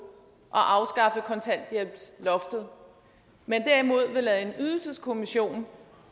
at afskaffe kontanthjælpsloftet men derimod vil lade en ydelseskommission